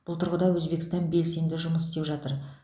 бұл тұрғыда өзбекстан белсенді жұмыс істеп жатыр